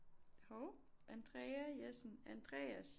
Hov Andrea Jessen Andreas